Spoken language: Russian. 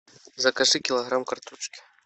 закажи килограмм картошки